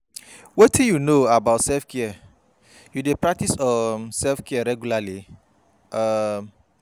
wetin you know about self-care, you dey practice um self-care regularly? um